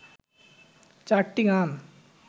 চারটি গান